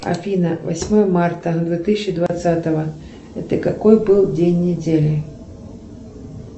афина восьмое марта две тысячи двадцатого это какой был день недели